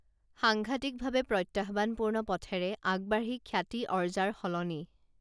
সাংঘাটিকভাৱে প্ৰত্যাহ্বানপূৰ্ণ পথেৰে আগবাঢ়ি খ্যাতি অৰ্জাৰ সলনি